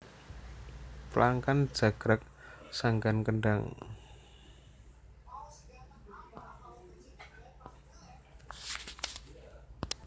Plangkan jagrag sanggan kendhang